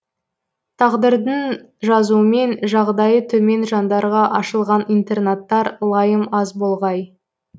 тағдырдың жазуымен жағдайы төмен жандарға ашылған интернаттар лайым аз болғай